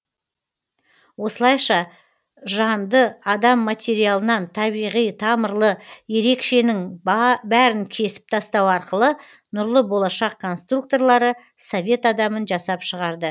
осылайша жан ды адам материалынан табиғи тамырлы ерек шенің бәрін кесіп тастау арқылы нұрлы болашақ конструкторлары совет адамын жасап шығарды